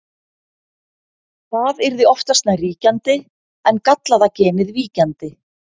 það yrði oftast nær ríkjandi en gallaða genið víkjandi